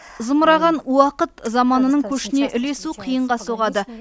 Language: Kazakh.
зымыраған уақыт заманының көшіне ілесу қиынға соғады